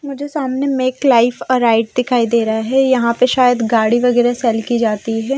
मुझे सामने make life arrive दिखाई दे रहा है यहां पे शायद गाड़ी वगैरा सेल की जाती है।